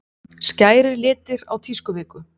Skærir litir á tískuviku